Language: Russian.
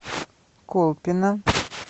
колпино